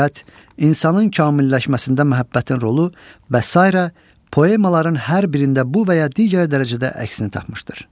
insanın kamilləşməsində məhəbbətin rolu və sairə poemaların hər birində bu və ya digər dərəcədə əksini tapmışdır.